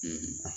Ee